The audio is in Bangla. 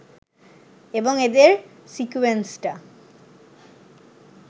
এবং এদের সিকোয়েন্সটা